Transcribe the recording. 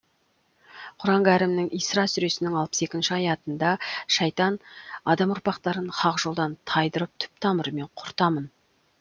құран кәрімнің исра сүресінің алпыс екінші аятында шайтан адам ұрпақтарын хақ жолдан тайдырып түп тамырымен құртамын